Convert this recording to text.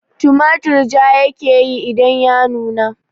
Tumatur ja ya ke yi idan ya nuna